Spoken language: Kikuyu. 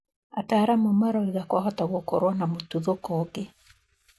Ataramu marauga kwahota gũkorwo na mũtuthũko ũngĩ.